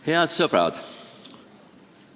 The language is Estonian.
Head sõbrad!